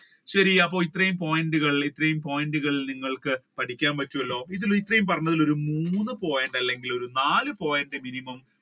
ശരി അപ്പൊ ഇത്രയും point കൾ നിങ്ങൾക്ക് പഠിക്കാൻ പറ്റുമല്ലോ ഇത്രയും പറഞ്ഞതിൽ ഒരു മൂന്ന് point അല്ലെങ്കിൽ ഒരു നാല് point minimum